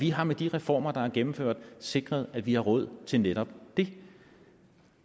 vi har med de reformer der er gennemført sikret at vi har råd til netop det